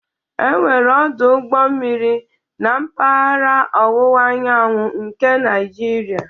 Enweghị ọdụ ụgbọ mmiri na mpaghara ọwụwa anyanwụ nke Naijiria